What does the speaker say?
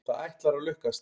Það ætlar að lukkast.